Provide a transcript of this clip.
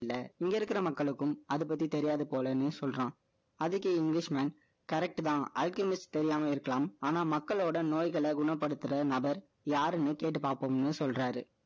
இங்க இருக்கிற மக்களுக்கும், அதை பத்தி தெரியாது போலன்னே சொல்றான். அதுக்கு English mancorrect தான், ultimate தெரியாம இருக்கலாம். ஆனா, மக்களோட நோய்களை குணப்படுத்துற நபர், யாருன்னு கேட்டு பார்ப்போம்ன்னு சொல்றாரு.